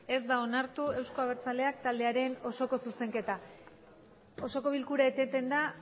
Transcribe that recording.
ez osoko bilkura eteten da